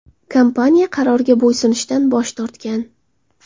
Kompaniya qarorga bo‘ysunishdan bosh tortgan.